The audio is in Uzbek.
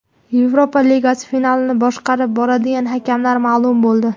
Yevropa Ligasi finalini boshqarib boradigan hakamlar ma’lum bo‘ldi.